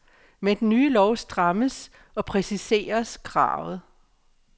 Med den nye lov strammes og præciseres kravet.